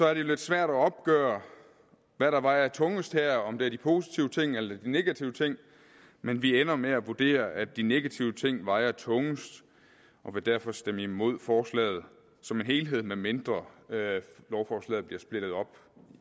er det lidt svært at opgøre hvad der vejer tungest her om det er de positive ting eller de negative ting men vi ender med at vurdere at de negative ting vejer tungest og vil derfor stemme imod forslaget som helhed medmindre lovforslaget bliver splittet op